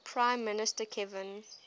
prime minister kevin